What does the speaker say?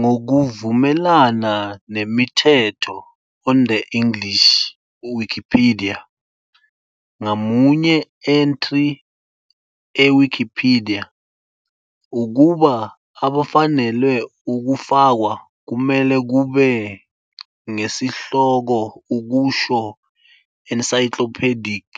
Ngokuvumelana nemithetho on the English Wikipedia, ngamunye entry e Wikipedia, ukuba afanelwe ukufakwa, kumele kube ngesihloko okusho encyclopedic